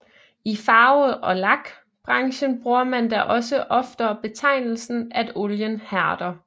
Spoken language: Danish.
I Farve og Lak branchen bruger man da også oftere betegnelsen at olien hærder